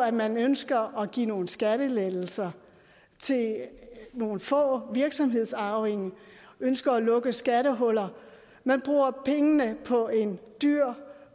at man ønsker at give nogle skattelettelser til nogle få virksomhedsarvinger ønsker at lukke skattehuller man bruger pengene på en dyr